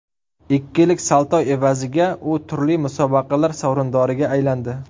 Ikkilik salto evaziga u turli musobaqalar sovrindoriga aylandi.